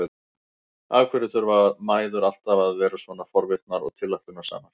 Af hverju þurfa mæður alltaf að vera svona forvitnar og tilætlunarsamar?